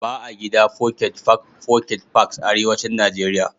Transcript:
Ba a gida foket fak ( pocket parks) Arewacin Najeriya.